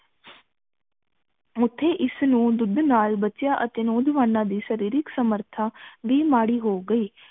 ਮੁਠੀ ਇਸ ਨੂੰ ਦੁੱਧ ਨਾਲ ਬੱਚਿਆਂ ਅਤੇ ਨੌਜਵਾਨਾਂ ਦੀ ਸ਼ਾਰੀਰਿਕ ਸਮਰਥਾ ਵੀ ਮਾੜੀ ਹੋ ਗਈ